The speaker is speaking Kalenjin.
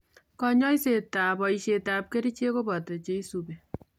Kanyoisetab boishetab kerichek koboto cheisubi